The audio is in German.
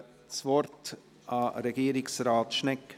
Ich gebe das Wort Regierungsrat Schnegg.